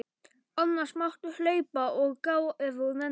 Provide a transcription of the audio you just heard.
Annars máttu hlaupa og gá ef þú nennir.